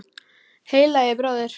Heilagi bróðir!